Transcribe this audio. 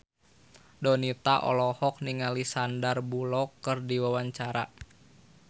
Donita olohok ningali Sandar Bullock keur diwawancara